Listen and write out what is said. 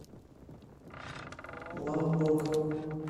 лаббок